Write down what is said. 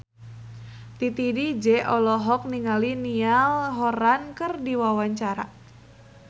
Titi DJ olohok ningali Niall Horran keur diwawancara